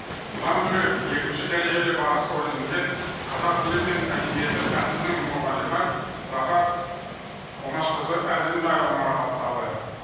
бұдан бөлек екінші дәрежелі барыс орденімен қазақ тілі мен әдебиеті пәнінің мұғалімі рахат омашқызы әзімбаева марапатталды